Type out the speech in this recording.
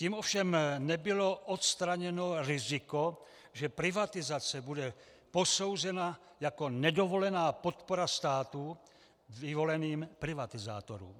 Tím ovšem nebylo odstraněno riziko, že privatizace bude posouzena jako nedovolená podpora státu vyvoleným privatizátorům.